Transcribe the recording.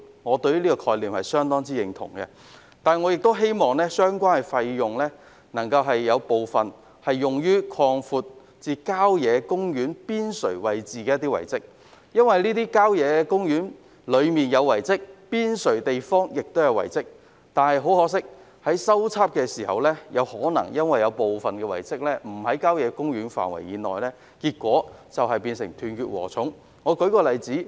我相當認同這個概念，但亦希望當中部分款項可用以修葺郊野公園邊陲位置的遺蹟，因為郊野公園範圍內及邊陲位置都有遺蹟，但很可惜，在進行修葺工程時，部分遺蹟可能並非位於郊野公園範圍內，結果有關工程猶如"斷截禾蟲"般。